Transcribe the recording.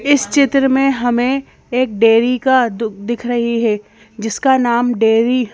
इस चित्र में हमें एक डेरी का दू दिख रही है जिसका नाम डेरी --